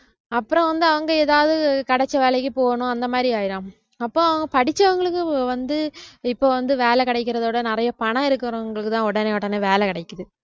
அப்புறம் வந்து அங்க எதாவது கிடைச்ச வேலைக்கு போகனும் அந்த மாதிரி ஆயிரும் அப்போ படிச்சவங்களுக்கு வந்து இப்ப வந்து வேலை கிடைக்கிறதை விட நிறைய பணம் இருக்கிறவங்களுக்குதான் உடனே உடனே வேலை கிடைக்குது